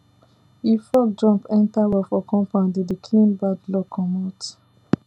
if frog jump enter well for compound e dey clean bad luck comot